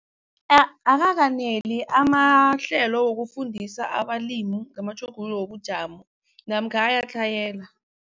Akakaneli amahlelo wokufundisa abalimi ngamatjhuguluko wobujamo namkha ayatlhayela.